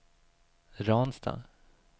Ransta